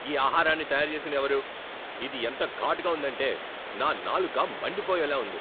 ఈ ఆహారాన్ని తయారు చేసింది ఎవరు? ఇది ఎంత ఘాటుగా ఉందంటే, నా నాలుక మండిపోయేలా ఉంది.